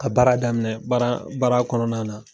Ka baara daminɛ baara baara kɔnɔna na